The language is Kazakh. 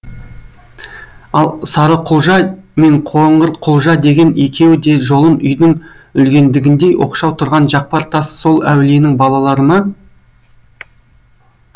ал сарықұлжа мен қоңырқұлжа деген екеуі де жолым үйдің үлгендігіндей оқшау тұрған жақпар тас сол әулиенің балалары ма